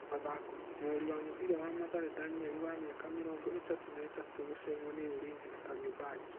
(Mathako) Mũrori wa mũbira wa Mathare Danieri wa mĩaka mĩrongo ĩtatũ na ĩtatũ gucemwo nĩ Ulinzi na Kariombangi.